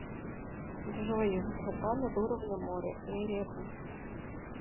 джой высота над уровнем моря эребус